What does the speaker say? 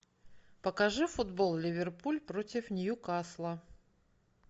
покажи футбол ливерпуль против ньюкасла